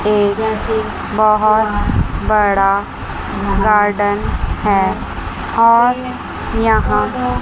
ये बहोत बड़ा गार्डन है और यहां--